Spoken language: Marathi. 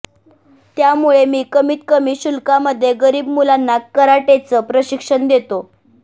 त्यामुळे मी कमीतकमी शुल्कामध्ये गरीब मुलांना कराटेचं प्रशिक्षण देतो